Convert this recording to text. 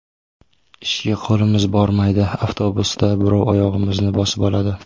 Ishga qo‘limiz bormaydi, avtobusda birov oyog‘imizni bosib oladi.